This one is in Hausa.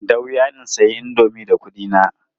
Da wuya in sayi indomi da kuɗina.